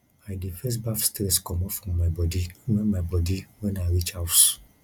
i dey first baff stress comot from my bodi wen my bodi wen i reach house